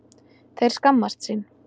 Þeir skammast sín